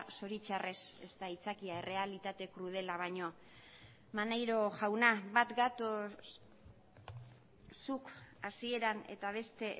zoritxarrez ez da aitzakia errealitate krudela baino maneiro jauna bat gatoz zuk hasieran eta beste